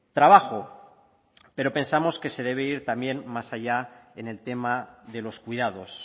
trabajo pero pensamos que se debe ir también más allá en el tema de los cuidados